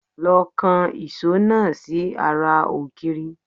Lọ kan ìṣó náà si ará ògiri